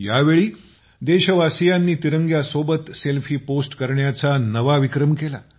यावेळी देशवासियांनी तिरंग्यासोबत सेल्फी पोस्ट करण्याचा नवा विक्रम केला